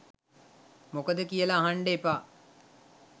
මොකද කියල අහන්ඩ එපා.